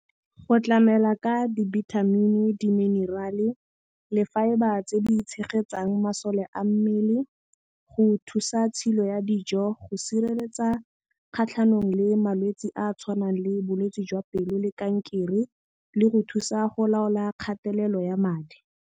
Go tlamela ka dibithamini, di-mineral-e le fibre tse di tshegetsang masole a mmele, go thusa tshilo ya dijo, go sireletsa kgatlhanong le malwetse a a tshwanang le bolwetsi jwa pelo le kankere le go thusa go laola kgatelelo ya madi.